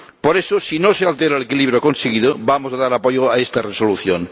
Por eso, si no se altera el equilibrio conseguido, vamos a dar apoyo a esta Resolución.